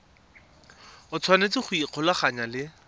o tshwanetse go ikgolaganya le